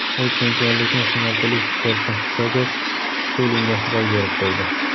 U chempionlikni singapurlik sportchi Jozef Skulinga boy berib qo‘ydi.